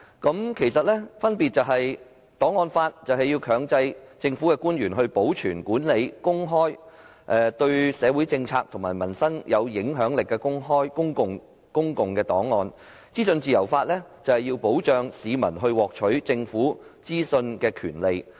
兩者的分別在於檔案法強制政府官員保存、管理及公開對社會政策及民生有影響力的公共檔案，而資訊自由法則保障市民獲取政府資訊的權利。